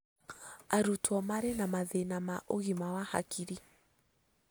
Arutwo marĩ na mathĩna ma ũgima wa hakiri